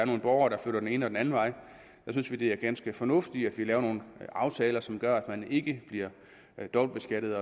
nogle borgere der flytter den ene og den anden vej det er ganske fornuftigt at vi laver nogle aftaler som gør at man ikke bliver dobbeltbeskattet